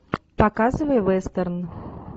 показывай вестерн